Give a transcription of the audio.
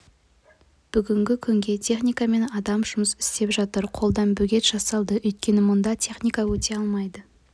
бүгінгі күнге техника мен адам жұмыс істеп жатыр қолдан бөгет жасалды өйткені мұнда техника өте алмайды